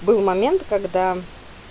был момент когда